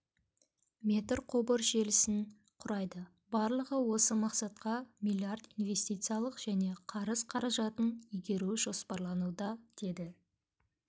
метр құбыр желісін құрайды барлығы осы мақсатқа миллиард инвестициялық және қарыз қаражатын игеру жоспарлануда деді